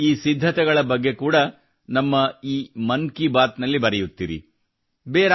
ನೀವು ಈ ಸಿದ್ಧತೆಗಳ ಬಗ್ಗೆ ಕೂಡಾ ನಮ್ಮ ಈ ಮನ್ ಕಿ ಬಾತ್ ನಲ್ಲಿ ಬರೆಯುತ್ತಿರಿ